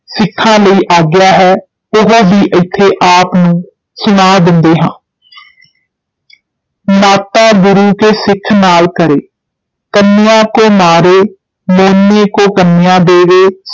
ਸਿੱਖਾਂ ਲਈ ਆਗਿਆ ਹੈ ਉਹ ਵੀ ਇੱਥੇ ਆਪ ਨੂੰ ਸੁਣਾ ਦਿੰਦੇ ਹਾਂ ਨਾਤਾ ਗੁਰੂ ਕੇ ਸਿੱਖ ਨਾਲ ਕਰੇ, ਕੰਨਯਾ ਕੋ ਮਾਰੇ, ਮੋਨੇ ਕੋ ਕੰਨਯਾ ਦੇਵੇ,